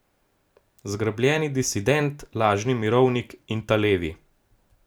Zgrbljeni disident, Lažni mirovnik in Ta Levi.